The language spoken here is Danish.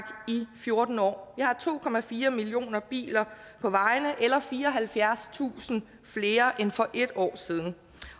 i fjorten år vi har to millioner biler på vejene eller fireoghalvfjerdstusind flere end for en år siden